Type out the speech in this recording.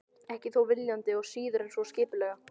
Ekki þó viljandi og síður en svo skipulega.